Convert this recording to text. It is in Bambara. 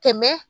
Tɛmɛ